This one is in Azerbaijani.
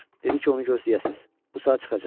Dedi ki, onu gözləyəsiz, bu saat çıxacaq.